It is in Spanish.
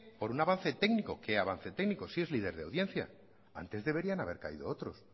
por un avance técnico qué avance técnico si es líder de audiencia antes deberían haber caído otros